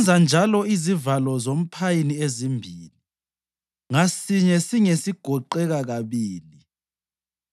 Wenza njalo izivalo zomphayini ezimbili, ngasinye singesigoqeka kabili.